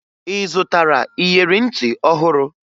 Ị zụtara iyeri ntị ọhụrụ?